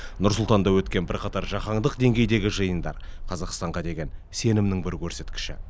нұр сұлтанда өткен бірқатар жаһандық деңгейдегі жиындар қазақстанға деген сенімнің бір көрсеткіші